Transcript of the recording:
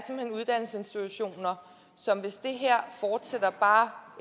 så hvis det her fortsætter bare